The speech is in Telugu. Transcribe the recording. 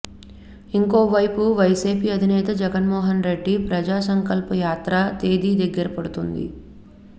ఇంకోవైపు వైసీపీ అధినేత జగన్మోహన్ రెడ్డి ప్రజాసంకల్పయాత్ర తేదీ దగ్గర పడుతోంది